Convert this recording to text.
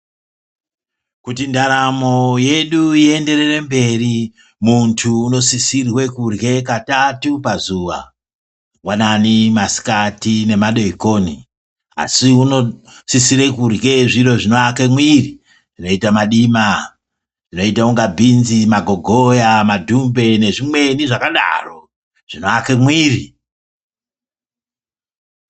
Kuti ndaramo yedu iyenderere mberi muntu unosisirwe kurya katatu pazuwa. Mangwanani , masikati nemadeekoni asi unosisire kurye zviro zvinoake mwiri zvinoite madima , zvoita kunga bhinzi, magogoya , madhumbe nezvimweni zvakadaro zvinoake mwiri